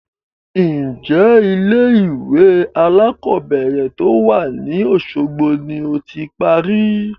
Ń jẹ́ ilé ìwé alakọ̀bẹ́ẹ́rẹ̀ to wá ní Osogbo ni ó ti parí?